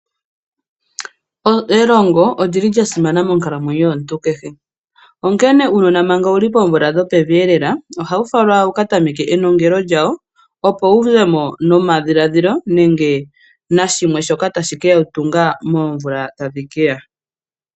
Elongo olyili lyasimana monkalamwenyo yomuntu keshe onkene uunona manga wuli poomvula dhopevi elela ohawu falwa wukatameke enongele lyawo opo wu zemo nomadhiladhilo nenge nashimwe shoka tashi keya tunga moomvula tadhi keya.